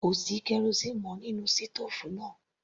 Kò sí kerosíínì mọ́ nínú sítòòfù náà.